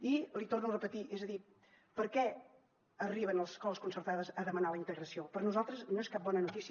i l’hi torno a repetir és a dir per què arriben les escoles concertades a demanar la integració per nosaltres no és cap bona notícia